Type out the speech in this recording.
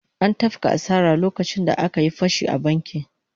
An tafka asara lokacin da aka yi fashi a bankin